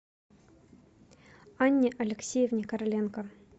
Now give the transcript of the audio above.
анне алексеевне короленко